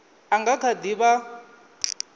a nga kha di vha